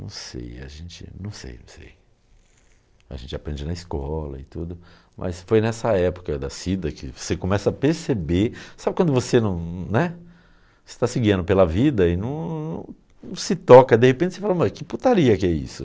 Não sei, a gente, não sei não sei, a gente aprende na escola e tudo, mas foi nessa época da Cida que você começa a perceber, sabe quando você não, né, você está se guiando pela vida e não não não se toca, de repente você fala, mas que putaria que é isso?